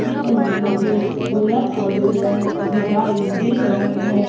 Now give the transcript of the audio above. चित्र में मुझे दुल्हन और दुलेहन दिखाइ दे रहे हैं।